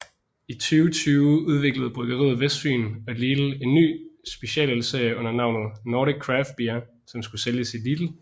I 2020 udviklede Bryggeriet Vestfyen og Lidl en ny specialølsserie under navnet Nordic Craft Beer som skulle sælges i Lidl